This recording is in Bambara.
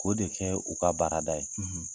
K'o de kɛ u ka baarada ye.